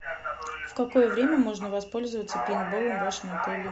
в какое время можно воспользоваться пейнтболом в вашем отеле